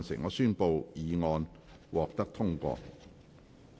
我宣布議案獲得通過。